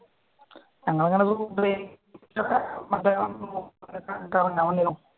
ഞങ്ങളങ്ങനെ കറങ്ങാൻ വന്നിരുന്നു